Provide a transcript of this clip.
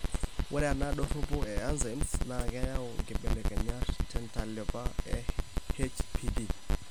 Ore ena doropo e enzymes naa keyau inkibelekenyat tentalipa eHPD.